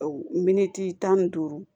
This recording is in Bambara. Miniti tan ni duuru